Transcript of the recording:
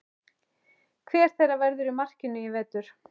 Hver þeirra verður í markinu í vetur?